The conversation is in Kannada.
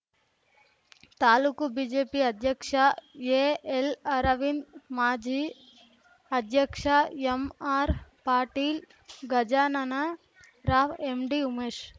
ತಾಲೂಕು ಬಿಜೆಪಿ ಅಧ್ಯಕ್ಷ ಎಎಲ್‌ ಅರವಿಂದ್‌ ಮಾಜಿ ಅಧ್ಯಕ್ಷ ಎಂಆರ್‌ ಪಾಟೀಲ್‌ ಗಜಾನನ ರಾವ್‌ ಎಂಡಿ ಉಮೇಶ್‌